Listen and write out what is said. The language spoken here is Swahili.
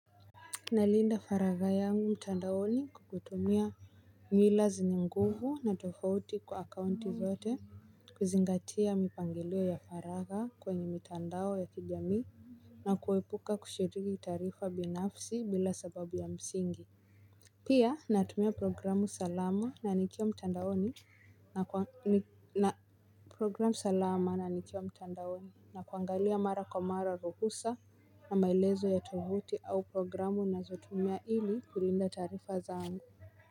Nalinda faraga yangu mtandaoni kukutumia mila zenye nguvu na tofauti kwa akaunti zote kuzingatia mipangilio ya faraga kwenye mtandao ya kijamii. Na kuwepuka kushiriki tarifa binafsi bila sababu ya msingi. Pia natumia programu salama na nikiwa mtandaoni na kwa ni programu salama na nikia mtandaoni. Na kuangalia mara kwa mara ruhusa na maelezo ya tuvuti au programu na zotumia ili kulinda taarifa zangu.